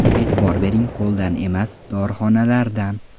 E’tibor bering qo‘ldan emas, dorixonalardan.